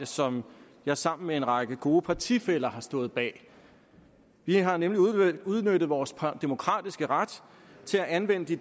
som jeg sammen med en række gode partifæller har stået bag vi har nemlig udnyttet vores demokratiske ret til at anvende de